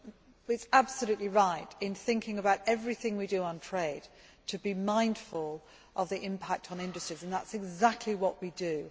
It is absolutely right that in thinking about everything we do on trade, we need to be mindful of the impact on industries, and that is exactly what we do.